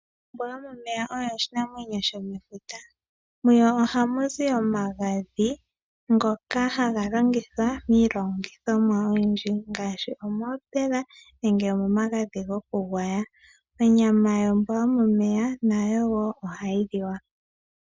Ombwa yomomeya oyo oshinamwenyo shomefuta, muyo ohamuzi omagadhi ngoka haga longithwa miilongithomwa oyidji ngaashi, omoopela nenge omomagadhi gokugwaya, onyama yombwa yomomeya nayo wo ohayi liwa.